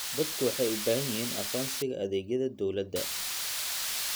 Dadku waxay u baahan yihiin aqoonsiga adeegyada dawladda.